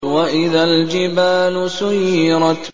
وَإِذَا الْجِبَالُ سُيِّرَتْ